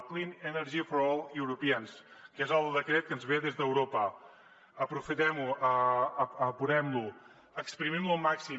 clean energy for all europeans que és el decret que ens ve des d’europa aprofitem ho apurem lo espremem lo al màxim